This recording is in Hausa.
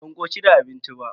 Ban koshi da abincin ba.